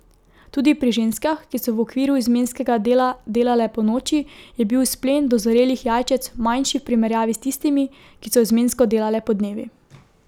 Tudi pri ženskah, ki so v okviru izmenskega dela delale ponoči, je bil izplen dozorelih jajčec manjši v primerjavi s tistimi, ki so izmensko delale podnevi.